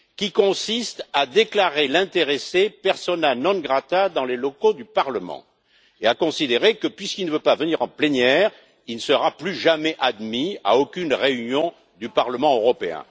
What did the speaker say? Ce principe consiste à déclarer l'intéressé persona non grata dans les locaux du Parlement et à considérer que, puisqu'il ne veut pas venir en plénière, il ne sera plus jamais admis à aucune réunion du Parlement européen.